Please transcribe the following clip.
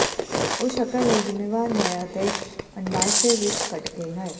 ਉਹ ਸ਼ਕਲ ਲਈ ਜ਼ਿੰਮੇਵਾਰ ਹੈ ਅਤੇ ਅੰਡਾਸ਼ਯ ਵਿੱਚ ਕੱਢਕੇ ਹਨ